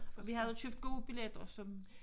Og vi havde købt gode billetter som